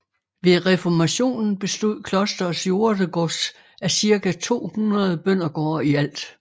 Ved reformationen bestod klosterets jordegods af cirka 200 bøndergårde i alt